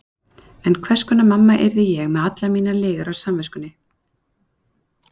En hvers konar mamma yrði ég með allar mínar lygar á samviskunni?